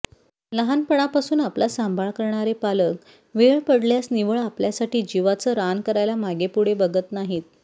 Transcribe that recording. लहानपनापासून आपला सांभाळ करणारे पालक वेळ पडल्यास निव्वळ आपल्यासाठी जीवाचं रान करायला मागेपुढे बघत नाहीत